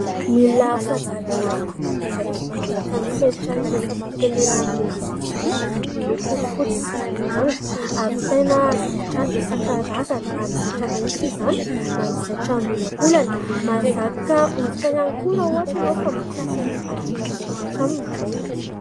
Milina fanjairana anankiray, manaraka ny fenitra iraisam-pirenena mihitsy izy ity, miloko fotsy sy manga. Ahavitana zaitra isankarazany, na ny zaitra mahitsy izany, na ny zaitra miolankolana. Mahazaka hoditra ihany koa raha ohatra ianao ka mikasa ny hanjaitra poketra aminy.